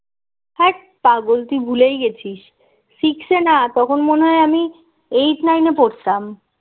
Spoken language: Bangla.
হ্যাট পাগল তুই ভুলেই গেছিস six এ না তখন মনে হয় আমি eight nine এ পড়তাম